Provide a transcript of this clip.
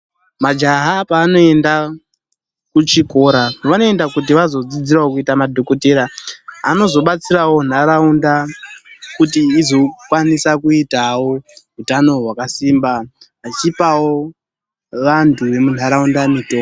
Majaha paanoenda kuchikora vanoenda kuti vazodzidzirawo kuita madhokotera anozobatsirawo nharaunda kuti izokwanisa kuitawo utano hwakasimba vachipawo vantu vemuntaraunda mitombo.